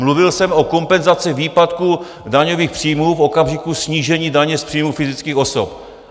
Mluvil jsem o kompenzaci výpadku daňových příjmů v okamžiku snížení daně z příjmu fyzických osob.